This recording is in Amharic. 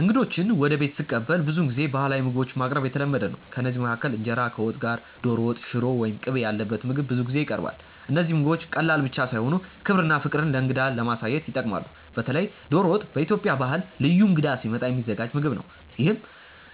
እንግዶችን ወደ ቤት ስቀበል ብዙውን ጊዜ ባህላዊ ምግቦችን ማቅረብ የተለመደ ነው። ከእነዚህ መካከል እንጀራ ከወጥ ጋር፣ ዶሮ ወጥ፣ ሽሮ ወይም ቅቤ ያለበት ምግብ ብዙ ጊዜ ይቀርባል። እነዚህ ምግቦች ቀላል ብቻ ሳይሆኑ ክብርና ፍቅር ለእንግዳ ለማሳየት ይጠቅማሉ። በተለይ ዶሮ ወጥ በኢትዮጵያ ባህል ልዩ እንግዳ ሲመጣ የሚዘጋጅ ምግብ ነው፤ ይህም